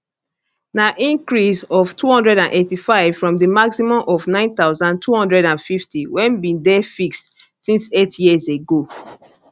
na increase of 285 from di maximum of 9250 wey bin dey fixed since eight years ago